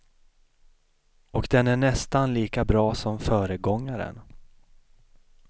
Och den är nästan lika bra som föregångaren.